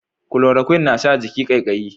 Kulorokwin na sa jiki kaikayi